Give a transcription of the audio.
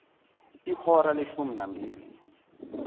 ihora leshumi nambili